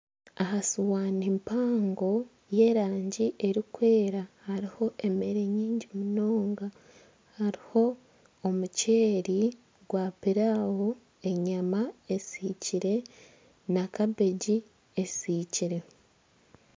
Aha sihaani mpango y'erangi erikwera hariho emera nyingi munonga hariho omukyeri gwa pillawo enyama esiikire na kabeegi esiikire.